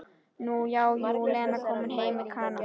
Nú já, jú, Lena kom heim með Kana.